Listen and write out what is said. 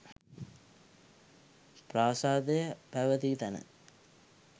ප්‍රාසාදය පැවැති තැන